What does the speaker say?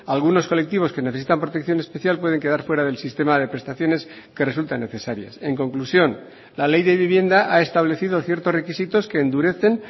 algunos colectivos que necesitan protección especial pueden quedar fuera del sistema de prestaciones que resultan necesarias en conclusión la ley de vivienda ha establecido ciertos requisitos que endurecen